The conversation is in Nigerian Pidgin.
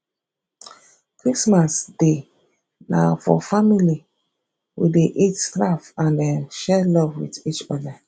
christmas day na for family we dey eat laugh and um share love wit each oda